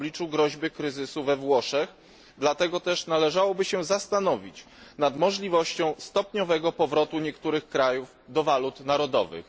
w obliczu groźby kryzysu we Włoszech, dlatego też należałoby się zastanowić nad możliwością stopniowego powrotu niektórych krajów do walut narodowych.